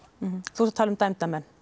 þú ert að tala um dæmda menn